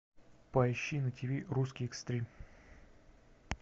поищи на тиви русский экстрим